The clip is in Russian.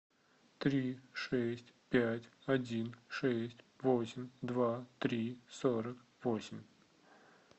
три шесть пять один шесть восемь два три сорок восемь